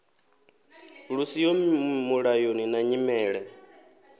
lu siho mulayoni na nyimele